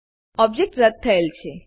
object રદ થયેલ છે